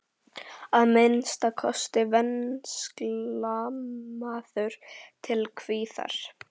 Að minnsta kosti venslamaður til kviðar!